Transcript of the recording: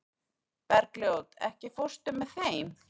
Bergljót, ekki fórstu með þeim?